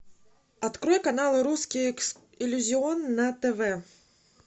открой канал русский иллюзион на тв